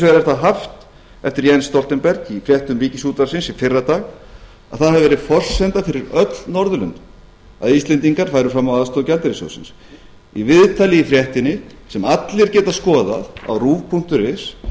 vegar er það haft eftir jens stoltenberg í fréttum ríkisútvarpsins í fyrradag að það hafi verið forsenda fyrir öll norðurlöndin að íslendingar færu fram á aðstoð gjaldeyrissjóðsins í viðtali með fréttinni sem allir geta skoðað á rúv punktur is